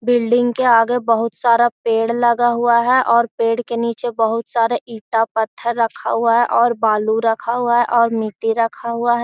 Building के आगे बहुत सारा पेड़ लगा हुआ हैं और पेड़ के नीचे बहुत सारा ईटा पत्थर रखा हुआ हैं और बालू रखा हुआ है और मिट्टी रखा हुआ है।